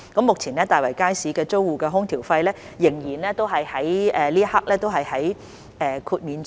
目前，大圍街市租戶的空調費用在這一刻仍獲得豁免。